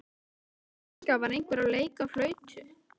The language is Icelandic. Í fjarska var einhver að leika á flautu.